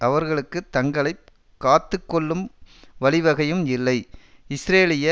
அவர்களுக்கு தங்களை காத்து கொள்ளும் வழிவகையும் இல்லை இஸ்ரேலிய